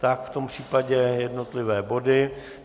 Tak v tom případě jednotlivé body.